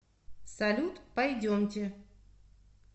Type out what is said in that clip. салют пойдемте